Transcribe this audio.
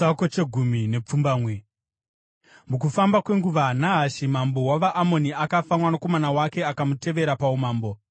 Mukufamba kwenguva, Nahashi mambo wavaAmoni akafa, mwanakomana wake akamutevera paumambo.